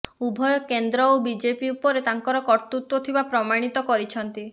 ଉଭୟ କେନ୍ଦ୍ର ଓ ବିଜେପି ଉପରେ ତାଙ୍କର କର୍ତ୍ତୃତ୍ୱ ଥିବା ପ୍ରମାଣିତ କରିଛନ୍ତି